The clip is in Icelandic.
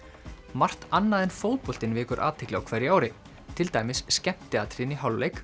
margt annað en fótboltinn vekur athygli á hverju ári til dæmis skemmtiatriðin í hálfleik